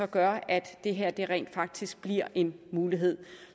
gør at det her rent faktisk bliver en mulighed